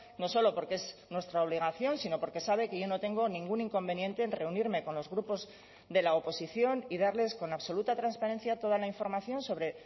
no solo porque es nuestra obligación sino porque sabe que yo no tengo ningún inconveniente en reunirme con los grupos de la oposición y darles con absoluta transparencia toda la información sobre